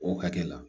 O hakɛ la